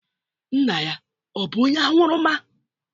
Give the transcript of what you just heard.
Nna ya ọ̀ bụ onye aṅụrụma?